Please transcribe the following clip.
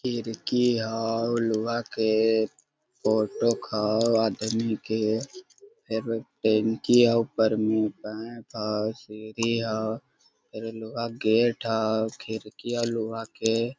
खिरकी हो लोहा के फोटोक हो आदमी के फिर टंकी हो ऊपर में पैप हो सीढ़ी हो फिर लोहे का गेट हो खिरकी है लोहा के --